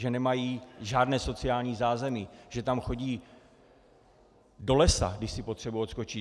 Že nemají žádné sociální zázemí, že tam chodí do lesa, když si potřebují odskočit.